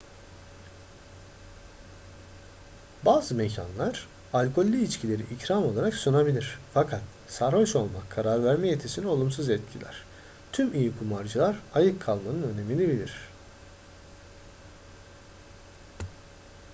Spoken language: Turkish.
bazı mekanlar alkollü içkileri ikram olarak sunabilir fakat sarhoş olmak karar verme yetisini olumsuz etkiler tüm iyi kumarcılar ayık kalmanın önemini bilir